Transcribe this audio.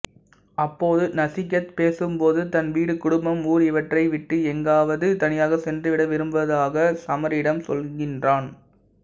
அப்போது நசிகேத் பேசும்போது தன் வீடு குடும்பம் ஊர் இவற்றை விட்டு எங்காவது தனியாக சென்றுவிட விரும்புவதாக சமீரிடம் சொல்கிறான்